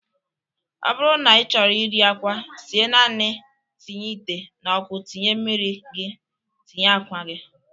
Ọ bụrụ na ị chọrọ iri akwa sie naanị tinye ite n'ọkụ tinye mmiri gị, tinye akwa gị